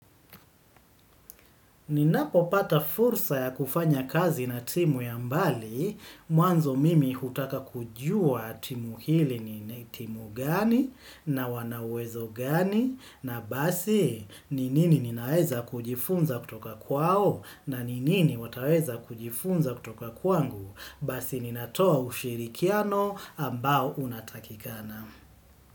Ninapopata fursa ya kufanya kazi na timu ya mbali, mwanzo mimi hutaka kujua timu hili ni timu gani na wana uwezo gani na basi ni nini ninaweza kujifunza kutoka kwao na ni nini wataweza kujifunza kutoka kwangu basi ninatoa ushirikiano ambao unatakikana.